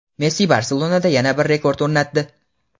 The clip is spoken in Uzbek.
Messi "Barselona"da yana bir rekord o‘rnatdi.